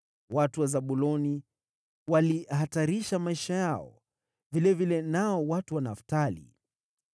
Watu wa Zabuloni walihatarisha maisha yao, vilevile nao watu wa Naftali.